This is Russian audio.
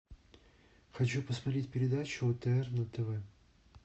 хочу посмотреть передачу отр на тв